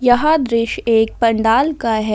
यह दृश्य एक पंडाल का है ।